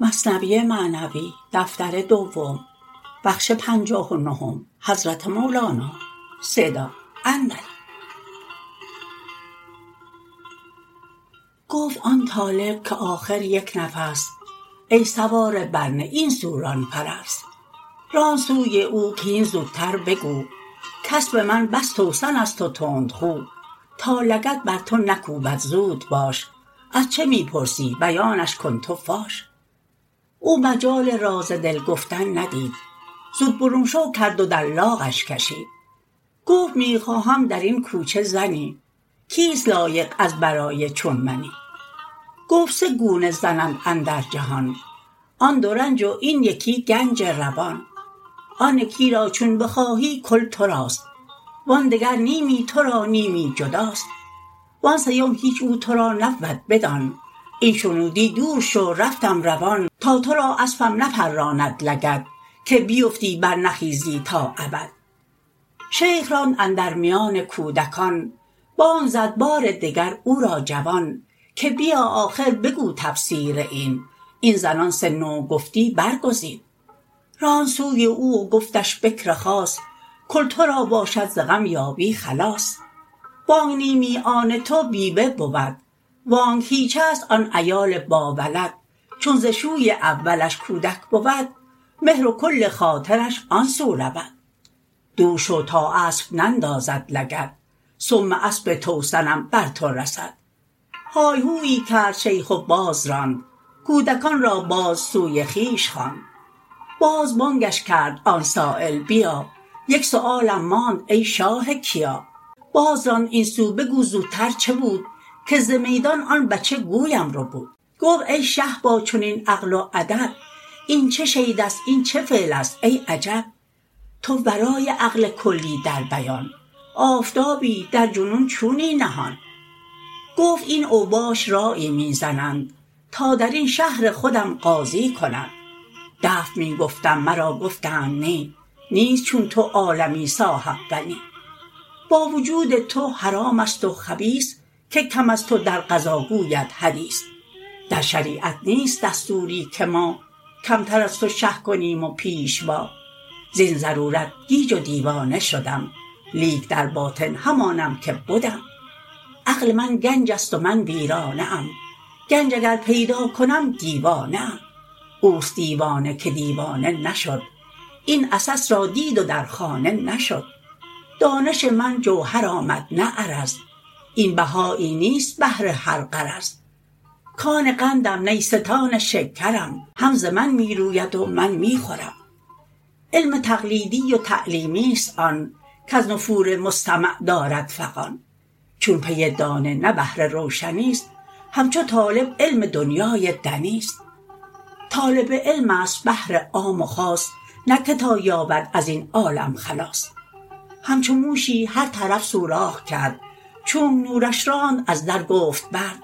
گفت آن طالب که آخر یک نفس ای سواره بر نی این سو ران فرس راند سوی او که هین زوتر بگو کاسپ من بس توسن ست و تندخو تا لگد بر تو نکوبد زود باش از چه می پرسی بیانش کن تو فاش او مجال راز دل گفتن ندید زو برون شو کرد و در لاغش کشید گفت می خواهم درین کوچه زنی کیست لایق از برای چون منی گفت سه گونه زن اند اندر جهان آن دو رنج و این یکی گنج روان آن یکی را چون بخواهی کل تراست وآن دگر نیمی ترا نیمی جداست وآن سیم هیچ او ترا نبود بدان این شنودی دور شو رفتم روان تا ترا اسپم نپراند لگد که بیفتی بر نخیزی تا ابد شیخ راند اندر میان کودکان بانگ زد بار دگر او را جوان که بیا آخر بگو تفسیر این این زنان سه نوع گفتی بر گزین راند سوی او و گفتش بکر خاص کل ترا باشد ز غم یابی خلاص وانک نیمی آن تو بیوه بود وانک هیچ ست آن عیال با ولد چون ز شوی اولش کودک بود مهر و کل خاطرش آن سو رود دور شو تا اسپ نندازد لگد سم اسپ توسنم بر تو رسد های هویی کرد شیخ باز راند کودکان را باز سوی خویش خواند باز بانگش کرد آن سایل بیا یک سؤالم ماند ای شاه کیا باز راند این سو بگو زوتر چه بود که ز میدان آن بچه گویم ربود گفت ای شه با چنین عقل و ادب این چه شیدست این چه فعلست ای عجب تو ورای عقل کلی در بیان آفتابی در جنون چونی نهان گفت این اوباش رایی می زنند تا درین شهر خودم قاضی کنند دفع می گفتم مرا گفتند نی نیست چون تو عالمی صاحب فنی با وجود تو حرام است و خبیث که کم از تو در قضا گوید حدیث در شریعت نیست دستوری که ما کمتر از تو شه کنیم و پیشوا زین ضرورت گیج و دیوانه شدم لیک در باطن همانم که بدم عقل من گنج ست و من ویرانه ام گنج اگر پیدا کنم دیوانه ام اوست دیوانه که دیوانه نشد این عسس را دید و در خانه نشد دانش من جوهر آمد نه عرض این بهایی نیست بهر هر غرض کان قندم نیستان شکرم هم ز من می روید و من می خورم علم تقلیدی و تعلیمی ست آن کز نفور مستمع دارد فغان چون پی دانه نه بهر روشنی ست همچو طالب علم دنیای دنی ست طالب علم است بهر عام و خاص نه که تا یابد ازین عالم خلاص همچو موشی هر طرف سوراخ کرد چونک نورش راند از در گفت برد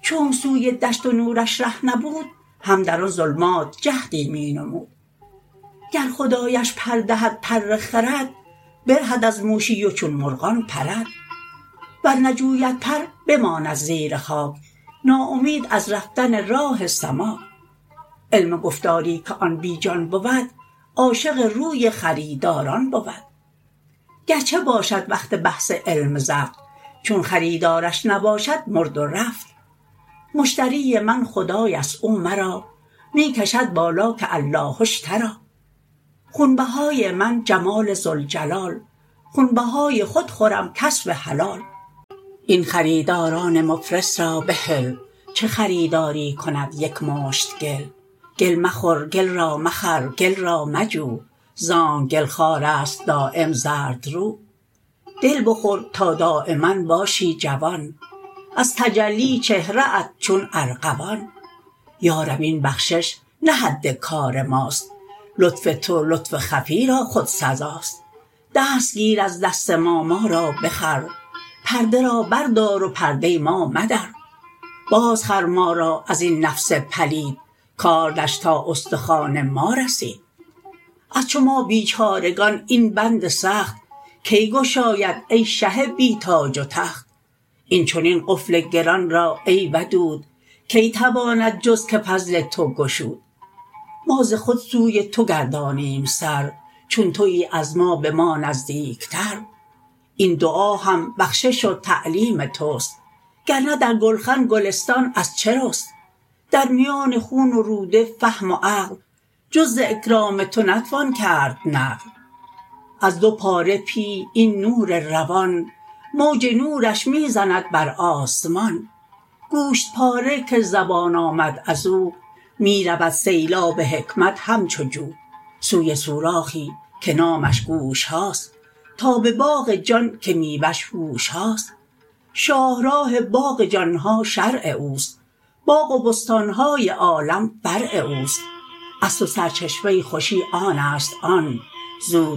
چونک سوی دشت و نورش ره نبود هم در آن ظلمات جهدی می نمود گر خدایش پر دهد پر خرد برهد از موشی و چون مرغان پرد ور نجوید پر بماند زیر خاک ناامید از رفتن راه سماک علم گفتاری که آن بی جان بود عاشق روی خریداران بود گرچه باشد وقت بحث علم زفت چون خریدارش نباشد مرد و رفت مشتری من خدایست او مرا می کشد بالا که الله اشتری خون بهای من جمال ذوالجلال خون بهای خود خورم کسب حلال این خریداران مفلس را بهل چه خریداری کند یک مشت گل گل مخور گل را مخر گل را مجو زانک گل خوار است دایم زردرو دل بخور تا دایما باشی جوان از تجلی چهره ات چون ارغوان یا رب این بخشش نه حد کار ماست لطف تو لطف خفی را خود سزاست دست گیر از دست ما ما را بخر پرده را بر دار و پرده ما مدر باز خر ما را ازین نفس پلید کاردش تا استخوان ما رسید از چو ما بیچارگان این بند سخت کی گشاید ای شه بی تاج و تخت این چنین قفل گران را ای ودود کی تواند جز که فضل تو گشود ما ز خود سوی تو گردانیم سر چون توی از ما به ما نزدیکتر این دعا هم بخشش و تعلیم تست گرنه در گلخن گلستان از چه رست در میان خون و روده فهم و عقل جز ز اکرام تو نتوان کرد نقل از دو پاره پیه این نور روان موج نورش می زند بر آسمان گوشت پاره که زبان آمد ازو می رود سیلاب حکمت همچو جو سوی سوراخی که نامش گوش هاست تا به باغ جان که میوه ش هوش هاست شاه راه باغ جان ها شرع اوست باغ و بستان های عالم فرع اوست اصل و سرچشمه خوشی آنست آن زود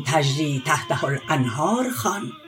تجری تحتها الانهار خوان